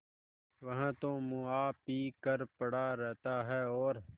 वह तो मुआ पी कर पड़ा रहता है और